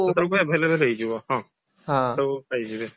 ସେତେବେଳକୁ available ହେଇଯିବ ହଁ ସେତେବେଳକୁ ପାଇଯିବେ